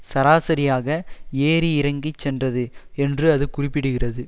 சராசரியாக ஏறி இறங்கி சென்றது என்று அது குறிப்பிடுகிறது